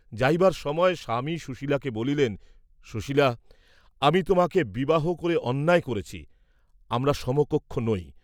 যাইবার সময় স্বামী সুশীলাকে বলিলেন সুশীলা, আমি তোমাকে বিবাহ করে অন্যায় করেছি, আমরা সমকক্ষ নই।